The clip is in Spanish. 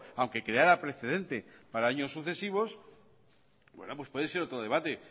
aunque quedara preferente para años sucesivos pues puede ser otro debate